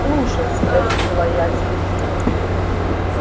слушай спросила я сергея